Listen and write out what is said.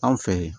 Anw fɛ yen